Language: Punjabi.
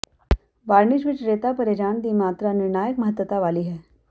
ਵਾਰਨਿਸ਼ ਵਿਚ ਰੇਤਾ ਭਰੇ ਜਾਣ ਦੀ ਮਾਤਰਾ ਨਿਰਣਾਇਕ ਮਹੱਤਤਾ ਵਾਲੀ ਹੈ